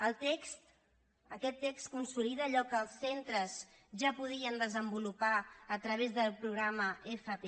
el text aquest text consolida allò que els centres ja podien desenvolupar a través del programa fp